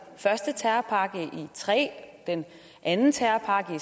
første terrorpakke i og tre den anden terrorpakke